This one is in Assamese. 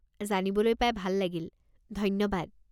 জানিবলৈ পাই ভাল লাগিল, ধন্যবাদ।